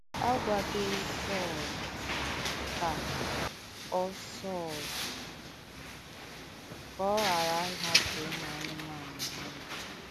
À gwàdọ̀rì Sọ̀l ka ọ Sọ̀l ka ọ ghàrà ịhapụ́ ùmù ànùmànù hà ndụ.